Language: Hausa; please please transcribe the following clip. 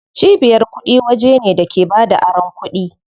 Cibiyar kuɗi waje ne da ke bada aron kuɗi.